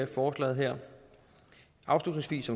forslaget her afslutningsvis